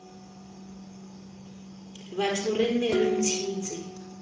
batho re nne re ntshitse